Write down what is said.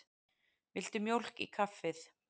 Viltu mjólk í kaffið?